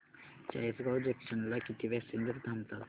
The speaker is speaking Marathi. चाळीसगाव जंक्शन ला किती पॅसेंजर्स थांबतात